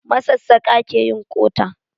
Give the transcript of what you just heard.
Masassaƙa ke yin ƙota. Local carpebters make hoe handles.